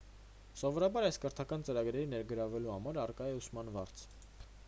սովորաբար այս կրթական ծրագրերին ներգրավվելու համար առկա է ուսման վարձ